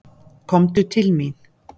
Komdu til mín.